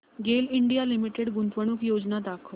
गेल India limited गुंतवणूक योजना दाखव